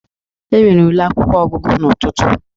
Enwere ule akwụkwọ ọgụgụ n'ụtụtụ.